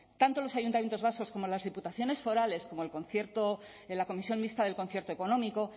tanto los ayuntamientos vascos como las diputaciones forales como en la comisión mixta del concierto económico